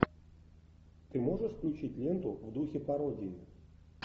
ты можешь включить ленту в духе пародии